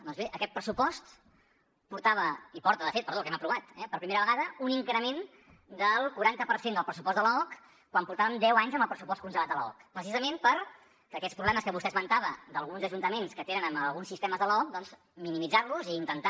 doncs bé aquest pressupost portava i porta de fet perdó que l’hem aprovat per primera vegada un increment del quaranta per cent del pressupost de l’aoc quan portàvem deu anys amb el pressupost congelat de l’aoc precisament per aquests problemes que vostè esmentava d’alguns ajuntaments que tenen amb alguns sistemes de l’aoc doncs minimitzar los i intentar